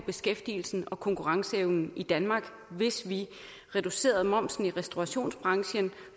beskæftigelsen og konkurrenceevnen i danmark hvis vi reducerede momsen i restaurationsbranchen